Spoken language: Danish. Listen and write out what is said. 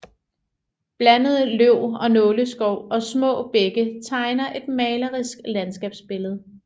Blandet løv og nåleskov og små bække tegner et malerisk landskabsbillede